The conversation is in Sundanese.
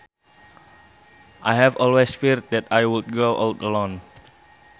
I have always feared that I would grow old alone